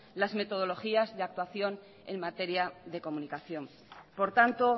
las metodologías de actuación en materia de comunicación por tanto